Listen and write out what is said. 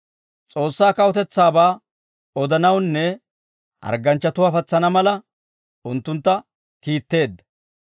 S'oossaa kawutetsaabaa odanawunne hargganchchatuwaa patsana mala unttuntta kiitteedda.